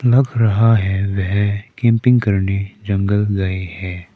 लग रहा है वह कैंपिंग करने जंगल गए हैं।